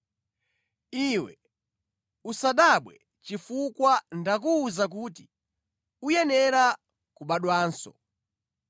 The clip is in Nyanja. Iwe usadabwe chifukwa ndakuwuza kuti, ‘Uyenera kubadwanso.’